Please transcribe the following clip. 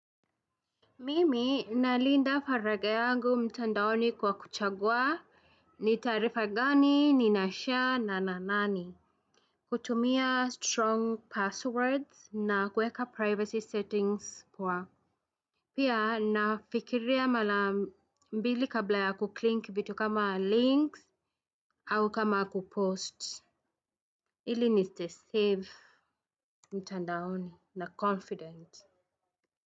Mimi nalinda faragha yangu mtandaoni kwa kuchagua ni taarifa gani ninashare na nani. Kutumia strong passwords na kuweka privacy settings kwa pia nafikiria mara mbili kabla ya kuclick vitu kama links au kama kupost. Ili nistay safe mtandaoni na confident.